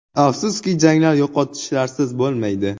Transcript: “Afsuski, janglar yo‘qotishlarsiz bo‘lmaydi.